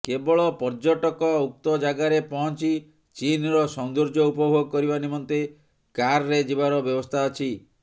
କେବଳ ପର୍ଯ୍ୟଟକ ଉକ୍ତ ଜାଗାରେ ପହଞ୍ଚି ଚିନ୍ର ସୌନ୍ଦର୍ଯ୍ୟ ଉପଭୋଗ କରିବା ନିମେନ୍ତ କାର୍ରେ ଯିବାର ବ୍ୟବସ୍ଥା ଅଛି